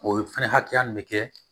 O fɛnɛ hakɛya nin be kɛ